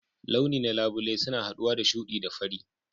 Launi na labule suna haɗuwa da shuɗi da fari.